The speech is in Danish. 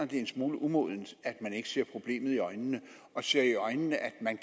det en smule umodent at man ikke ser problemet i øjnene og ser i øjnene at man